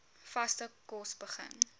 vaste kos begin